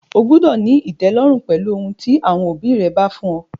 O gbúdọ̀ ní ìtẹ́lọ́rùn pẹ̀lú ohun tí àwọn òbí rẹ bá fún ọ!